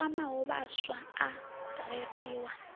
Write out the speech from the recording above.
a kwamaho vhaswa a reriwa